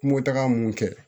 Kungo taga mun kɛ